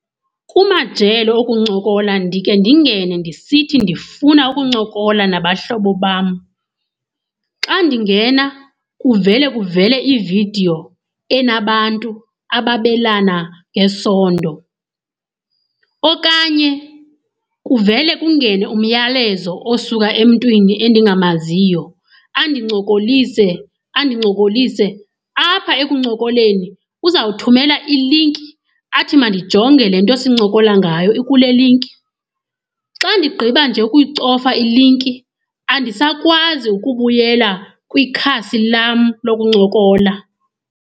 Kumajelo okuncokola ndike ndingene ndisithi ndifuna ukuncokola nabahlobo bam. Xa ndingena kuvele kuvele ividiyo enabantu ababelana ngesondo okanye kuvele kungene umyalezo osuka emntwini endingamaziyo andincokolise, andincokolise. Apha ekuncokoleni uzawuthumela ilinki athi mandijonge le nto sincokola ngayo ikule linki. Xa ndigqiba nje ukuyicofa ilinki andisakwazi ukubuyela kwikhasi lam lokuncokola.